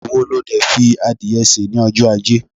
obe wo lo De fi adìye se ni ojo aje